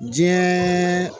Diɲɛ